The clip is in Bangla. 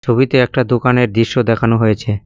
ছবিতে একটা দোকানের দৃশ্য দেখানো হয়েছে।